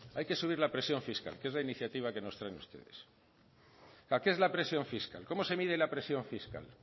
hay que subir la presión fiscal que es la iniciativa que nos traen ustedes para qué es la presión fiscal cómo se mide la presión fiscal